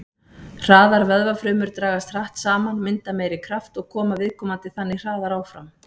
Hraðar vöðvafrumur dragast hratt saman, mynda meiri kraft og koma viðkomandi þannig hraðar áfram.